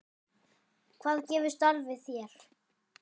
Hvað gefur starfið þér?